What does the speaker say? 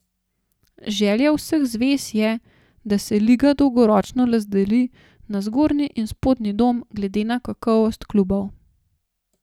Želja vseh zvez je, da se liga dolgoročno razdeli na zgornji in spodnji dom glede na kakovost klubov.